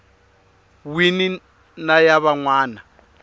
wini na ya van wana